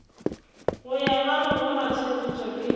go ya ka legoratshepetšo le